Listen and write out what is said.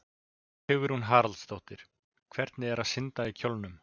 Hugrún Halldórsdóttir: Hvernig er að synda í kjólnum?